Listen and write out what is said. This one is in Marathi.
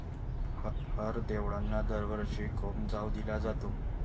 हरं देवळाना दरवर्षी कोमजावं दिला जातो